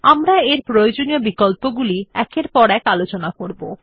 আমরা এর প্রয়োজনীয় বিকল্পগুলি একের পর এক আলোচনা করবো